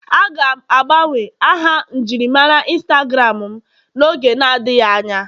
Aga m agbanwe aha njirimara Instagram m n'oge adịghị anya